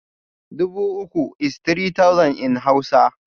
Dubu uku is three thousand in Hausa